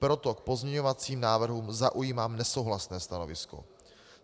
Proto k pozměňovacím návrhů zaujímám nesouhlasné stanovisko.